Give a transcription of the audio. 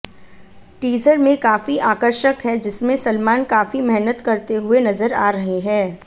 teaser में काफी आकर्षक है जिसमें सलमान काफी मेहनत करते हुए नजर आ रहे हैं